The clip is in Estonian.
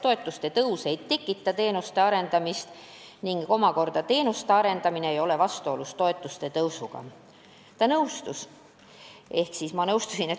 Toetuste tõus ei takista teenuste arendamist ning teenuste arendamine omakorda ei ole vastuolus toetuste tõusuga.